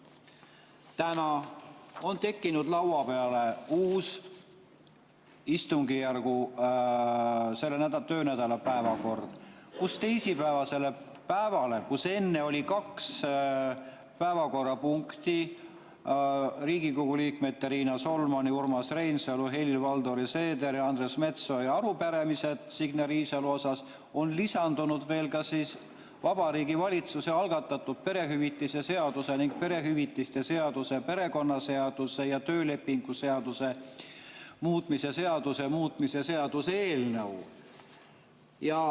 Täna on tekkinud laua peale uus selle töönädala päevakord, kus teisipäevasele päevale, kus enne oli kaks päevakorrapunkti – Riigikogu liikmete Riina Solmani, Urmas Reinsalu, Helir-Valdor Seederi ja Andres Metsoja arupärimised Signe Riisalole –, on lisandunud veel Vabariigi Valitsuse algatatud perehüvitiste seaduse ning perehüvitiste seaduse, perekonnaseaduse ja töölepingu seaduse muutmise seaduse muutmise seaduse eelnõu.